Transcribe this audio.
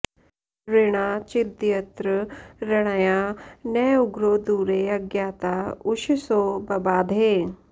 ऋणा चिद्यत्र ऋणया न उग्रो दूरे अज्ञाता उषसो बबाधे